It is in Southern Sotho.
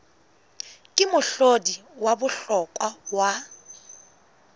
ke mohlodi wa bohlokwa wa